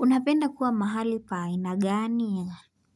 Unapenda kuwa mahali pa ina gani?